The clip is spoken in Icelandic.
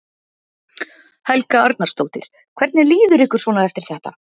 Helga Arnardóttir: Hvernig líður ykkur svona eftir þetta?